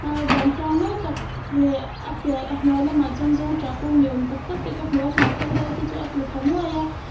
a van thiang mawi tak leh a piah a hnuai lamah chuan zawngṭah kung ni awm tak tak te ka hmu a hnahthel ro te chu a tla thla nuai a.